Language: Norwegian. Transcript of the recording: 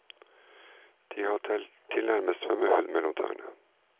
De har tilnærmet svømmehud mellom tærne.